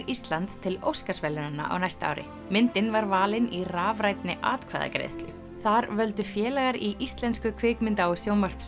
Íslands til Óskarsverðlaunanna á næsta ári myndin var valin í rafrænni atkvæðagreiðslu þar völdu félagar í Íslensku kvikmynda og